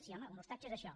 sí home un ostatge és això